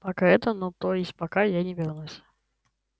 пока это ну то есть пока я не вернусь